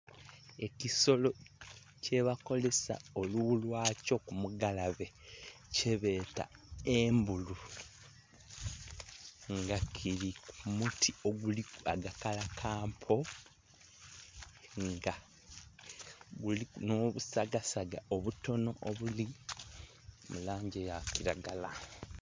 Ekisolo kyebakozesa olughu lyakyo ku mugalabe kyebeta embulu nga kili ku muti oguliku agakalakampa nga guliku nho busagasaga obutono obuli mu langi eya kilagala.